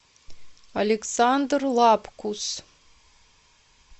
александр лапкус